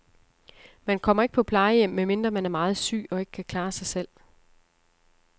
Man kommer ikke på plejehjem, medmindre man er meget syg og ikke kan klare sig selv.